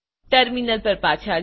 terminal પર પાછા જાઓ